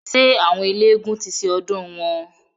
Ṣé àwọn eélégún ti ṣe ọdùn wọn?